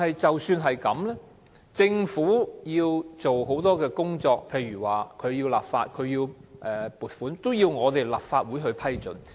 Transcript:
儘管如此，政府有很多工作，例如立法及撥款均要得到立法會的批准。